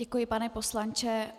Děkuji, pane poslanče.